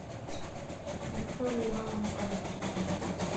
викторию ивановну каменеву